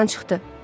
Yadımdan çıxdı.